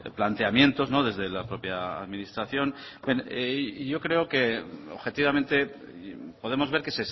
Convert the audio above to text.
planteamientos desde la propia administración y yo creo que objetivamente podemos ver que